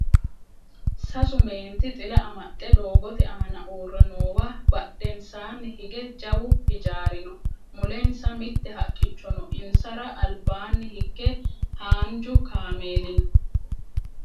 sasu meenti xila amaxxe doogote aana uurre noowa badhensaanni hige jawu hijaari no mulensa mitte haqqicho no insara albaanni hige haanju kameeli no